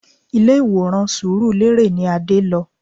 Ilé ìwòran surulere ni Adé lọ